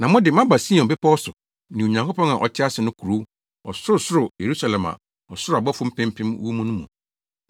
Na mo de, moaba Sion Bepɔw so ne Onyankopɔn a ɔte ase no kurow, ɔsorosoro Yerusalem a ɔsoro abɔfo mpempem wɔ mu no mu.